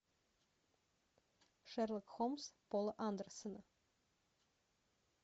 шерлок холмс пола андерсона